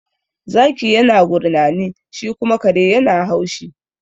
Zaki yana gurnani, shi kuma kare yana haushi.